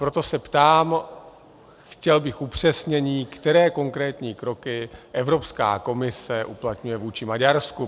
Proto se ptám, chtěl bych upřesnění, které konkrétní kroky Evropská komise uplatňuje vůči Maďarsku.